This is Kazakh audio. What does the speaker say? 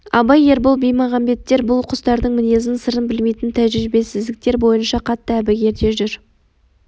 абай ербол баймағамбеттер бұл құстардың мінезін сырын білмейтін тәжірибесіздіктер бойынша қатты әбігерде жүр